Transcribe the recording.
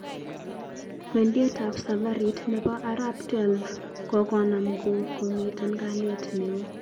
Kwendiet ap safari nepo arap Xii kokonam ngo komiten kaliet ne o